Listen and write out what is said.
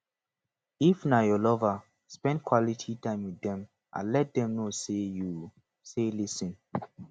if na your lover spend quality time with dem and let them know sey you sey lis ten